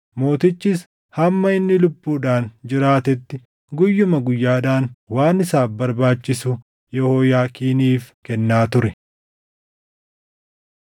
Mootichis hamma inni lubbuudhaan jiraatetti guyyuma guyyaadhaan waan isaaf barbaachisu Yehooyaakiiniif kennaa ture.